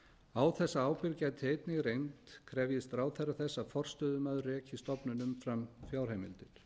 á þessa ábyrgð gæti einnig reynt krefjist ráðherra þess að forstöðumaður reki stofnun umfram